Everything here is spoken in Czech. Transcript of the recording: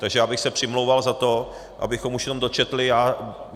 Takže já bych se přimlouval za to, abychom už jenom dočetli...